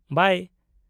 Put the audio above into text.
-ᱵᱟᱭ !